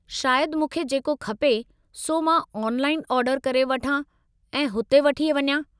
शायदि मूंखे जेको खपे सो मां ऑनलाइन ऑर्डर करे वठां ऐं हुते वठी वञा।